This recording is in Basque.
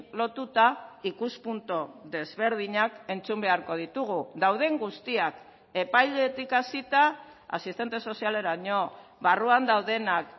lotuta ikuspuntu desberdinak entzun beharko ditugu dauden guztiak epailetik hasita asistente sozialeraino barruan daudenak